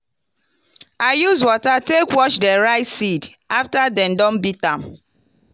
i use water take wash di rice seed after dem don beat am.